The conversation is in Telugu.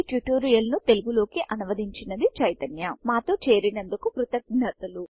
ఈ ట్యూటోరియల్ ను తెలుగు లోకి అనువదించింది చైతన్య మాతో చేరినందుకు కృతజ్ఞతలు